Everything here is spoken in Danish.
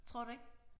Tror du ikke